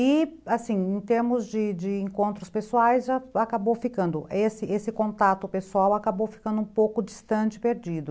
E, assim, em termos de de encontros pessoais, acabou ficando, esse contato pessoal acabou ficando um pouco distante, perdido.